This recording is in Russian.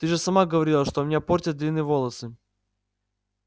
ты же сама говорила что меня портят длинные волосы